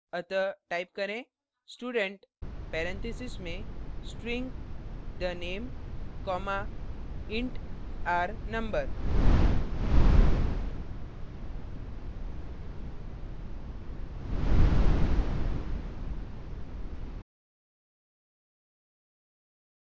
अतः type करें student parentheses में string the _ name comma int r _ no